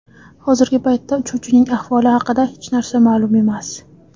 Hozirgi paytda uchuvchining ahvoli haqida hech narsa ma’lum emas.